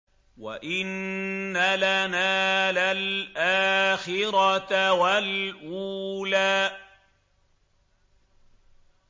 وَإِنَّ لَنَا لَلْآخِرَةَ وَالْأُولَىٰ